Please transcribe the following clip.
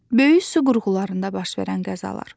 Böyük su qurğularında baş verən qəzalar.